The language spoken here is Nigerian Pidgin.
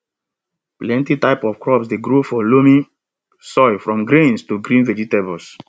plenty types of crops dey grow for loamy soil from grains to green vegetables